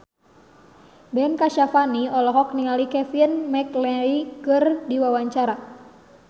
Ben Kasyafani olohok ningali Kevin McNally keur diwawancara